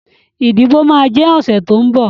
Ìdìbò máa jẹ ọ̀sẹ̀ tó ń bọ̀